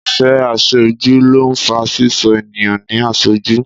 Ìfẹ́ Àfẹ́jù ló ń fa Ṣíṣọ́ ènìyàn ní àṣọ́jù